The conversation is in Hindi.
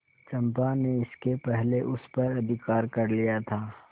चंपा ने इसके पहले उस पर अधिकार कर लिया था